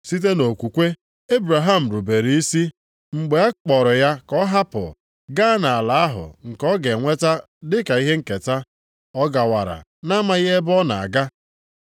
Site nʼokwukwe, Ebraham rubere isi mgbe a kpọrọ ya ka ọ hapụ, gaa nʼala ahụ nke ọ ga-enweta dịka ihe nketa. Ọ gawara nʼamaghị ebe ọ na-aga.